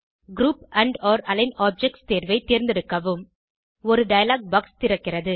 group andஒர் align objects தேர்வை தேர்ந்தெடுக்கவும் ஒரு டயலாக் பாக்ஸ் திறக்கிறது